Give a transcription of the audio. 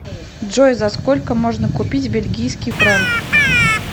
джой за сколько можно купить бельгийский франк